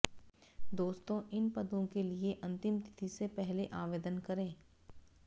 दोस्तो इन पदों के लिए अंतिम तिथि से पहले आवेदन करें